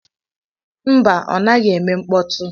Mba! Ọ naghị eme mkpọtụ.